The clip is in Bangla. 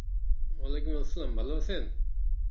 আলাইকুম আসসালাম ভালো আছেন?